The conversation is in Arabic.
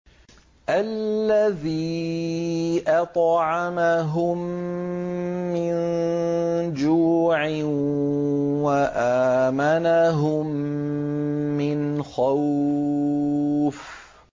الَّذِي أَطْعَمَهُم مِّن جُوعٍ وَآمَنَهُم مِّنْ خَوْفٍ